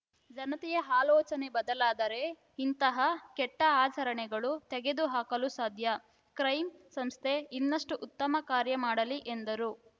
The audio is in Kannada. ಜನತೆಯ ಆಲೋಚನೆ ಬದಲಾದರೆ ಇಂಥಹ ಕೆಟ್ಟಆಚರಣೆಗಳು ತೆಗೆದುಹಾಕಲು ಸಾಧ್ಯ ಕ್ರೈ ಸಂಸ್ಥೆ ಇನ್ನಷ್ಟುಉತ್ತಮ ಕಾರ್ಯ ಮಾಡಲಿ ಎಂದರು